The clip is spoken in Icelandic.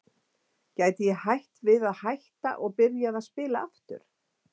Gæti ég hætt við að hætta og byrjað að spila aftur?